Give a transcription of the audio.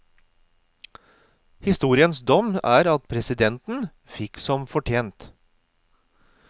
Historiens dom er at presidenten fikk som fortjent.